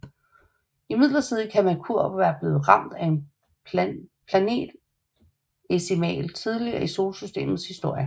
Imidlertid kan Merkur være blevet ramt af en planetesimal tidligt i Solsystemets historie